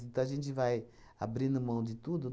Então a gente vai abrindo mão de tudo?